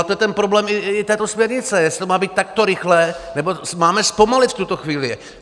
A to je ten problém i této směrnice, jestli to má být takto rychlé, nebo máme zpomalit v tuto chvíli.